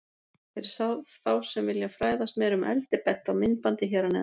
Fyrir þá sem vilja fræðast meira um eld er bent á myndbandið hér að neðan.